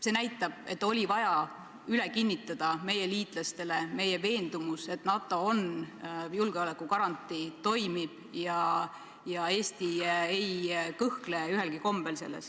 See näitab, et meie liitlastele oli vaja üle kinnitada meie veendumus, et NATO on julgeolekugarantii, ta toimib ja Eesti ei kõhkle selles mingil kombel.